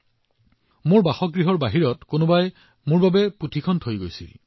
এই কিতাপখন মোৰ বাসগৃহত কোনোবাই বাহিৰত এৰি থৈ গৈছিল